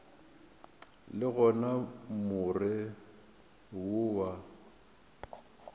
le gona more wo wa